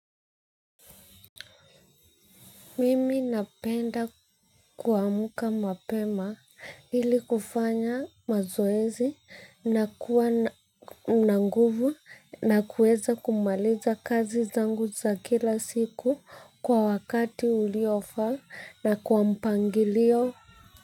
Mimi napenda kuamka mapema ili kufanya mazoezi na kuwa na nguvu na kuweza kumaliza kazi zangu za kila siku kwa wakati uliofaa na kwa mpangilio.